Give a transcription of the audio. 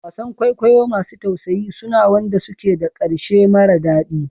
Wasan kwaikwayo masu tausayi suna wanda suke da ƙarshe mara daɗi